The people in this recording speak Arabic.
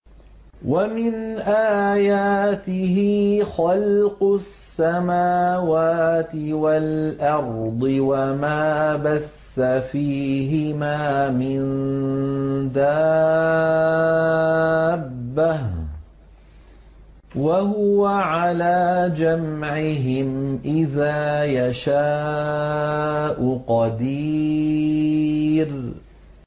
وَمِنْ آيَاتِهِ خَلْقُ السَّمَاوَاتِ وَالْأَرْضِ وَمَا بَثَّ فِيهِمَا مِن دَابَّةٍ ۚ وَهُوَ عَلَىٰ جَمْعِهِمْ إِذَا يَشَاءُ قَدِيرٌ